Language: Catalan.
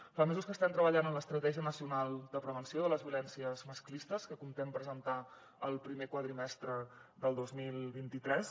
fa mesos que estem treballant en l’estratègia nacional de prevenció de les violències masclistes que comptem presentar el primer quadrimestre del dos mil vint tres